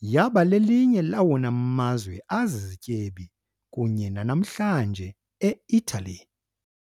yaba lelinye lawona mazwe azizityebi kunye nanamhlanje eItali.